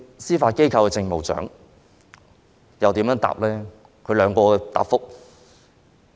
司法機構政務長如何回答這條問題呢？